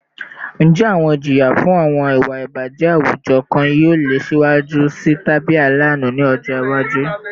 Njẹ awọn ijiya fun awọn iwa ibajẹ awujọ kan yoo le siwaju sii tabi alaanu ni ọjọ iwaju?